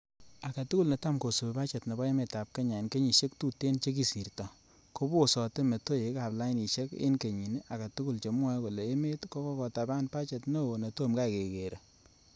Agetugul netamkosibi bachet nebo emetab kenya en kenyisiek tuten che kisirto kobsote metoek ab lainisiek en kenyi agetugul chemwoe kole emet ko kotaban bachet neo netomkai kekere.